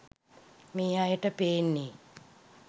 මේ අයට පේන්නේ